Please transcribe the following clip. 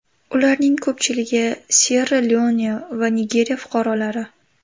Ularning ko‘pchiligi Syerra-Leone va Nigeriya fuqarolari”.